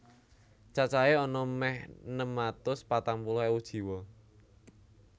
Cacahé ana mèh enem atus patang puluh ewu jiwa